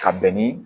Ka bɛn ni